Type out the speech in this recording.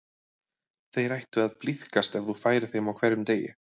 Þeir ættu að blíðkast ef þú færir þeim á hverjum degi.